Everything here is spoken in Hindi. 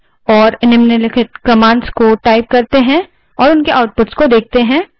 terminal window पर जाएँ और commands type करें और उनके outputs देखें